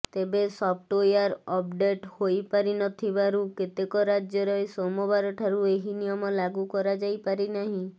ତେବେ software update ହୋଇପାରିନଥିବାରୁ କେତେକ ରାଜ୍ୟରେ ସୋମବାର ଠାରୁ ଏହି ନିୟମ ଲାଗୁ କରାଯାଇପାରିନାହିଁ